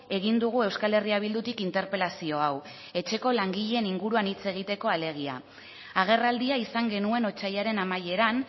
egin dugu euskal herria bildutik interpelazio hau etxeko langileen inguruan hitz egiteko alegia agerraldia izan genuen otsailaren amaieran